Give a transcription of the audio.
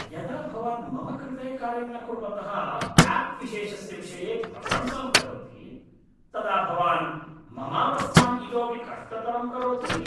यदा भवान् मम कृते कार्यं न कुर्वतः आप् विशेषस्य विषये प्रशंसां करोति तदा भवान् ममावस्थां इतोपि कष्टतरं करोति।